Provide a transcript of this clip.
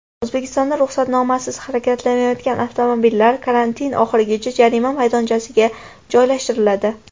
O‘zbekistonda ruxsatnomasiz harakatlanayotgan avtomobillar karantin oxirigacha jarima maydonchasiga joylashtiriladi .